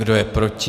Kdo je proti?